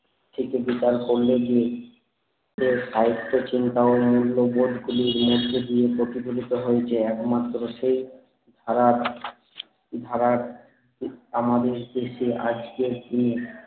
থেকে বিকাশ হতে গিয়ে সাহিত্য চিন্তা ও মূল্যবোধ গুলি মধ্যে দিয়ে প্রতিফলিত হয়েছে একমাত্র সেই ধারার ধারার ঠিক আমাদের দেশে আজকের দিনে